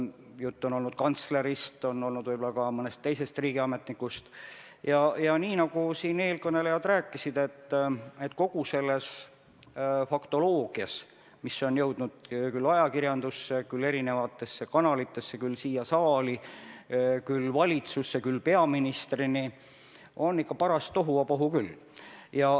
Juttu on olnud kantslerist, võib-olla ka mõnest teisest riigiametnikust, ja nii nagu eelkõnelejad rääkisid, on kogu selles faktoloogias, mis on jõudnud küll ajakirjandusse, küll erinevatesse kanalitesse, küll siia saali, küll valitsusse, küll peaministrini, ikka paras tohuvabohu küll.